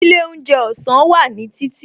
Ilé oúnjẹ ọ̀sán wà ní títì